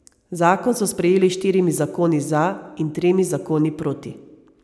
Zakon so sprejeli s štirimi zakoni za in tremi zakoni proti.